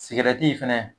Sigɛrɛti fɛnɛ